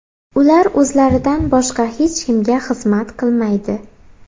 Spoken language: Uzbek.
Ular o‘zlaridan boshqa hech kimga xizmat qilmaydi.